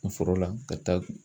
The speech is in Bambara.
Foro la ka taa